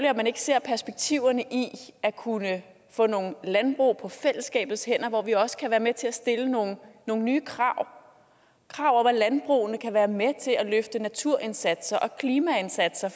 at man ikke ser perspektiverne i at kunne få nogle landbrug på fællesskabets hænder hvor vi også kan være med til at stille nogle nye krav krav om at landbrugene kan være med til at løfte naturindsatser og klimaindsatser